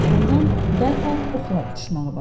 Ordan dərhal oxlar uçuşmağa başladı.